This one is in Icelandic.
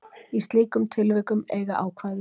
Í slíkum tilvikum eiga ákvæði